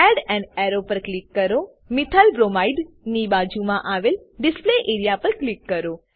add an arrow પર click કરો methyl bromide ની બાજુમાં આવેલ ડિસ્પ્લે એઆરઇએ પર ક્લિક કરો